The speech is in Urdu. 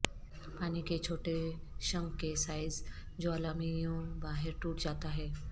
پانی کے چھوٹے شنک کے سائز جوالامھیوں باہر ٹوٹ جاتا ہے